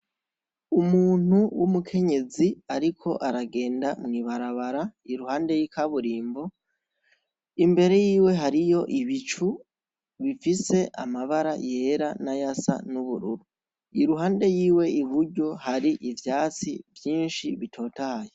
Umuntu w'umukenyezi, ariko aragenda mwibarabara iruhande y'ikaburimbo imbere yiwe hariyo ibicu bifise amabara yera na yasa n'ubururu iruhande yiwe iburyo hari ivyatsi vyinshi bitotaye.